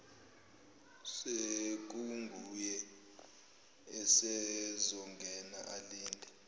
sekunguye usezongena alinde